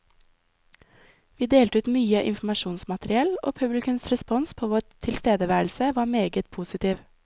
Vi delte ut mye informasjonsmateriell, og publikums respons på vår tilstedeværelse var meget positiv.